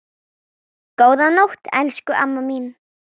Góða nótt, elsku amma mín.